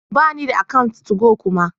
Bani da account 2go kuma